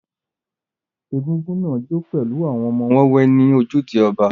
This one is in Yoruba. Egúngún náà jó pẹ̀lú àwọn ọmọ wẹ́wẹ́ ní ojúde ọjà.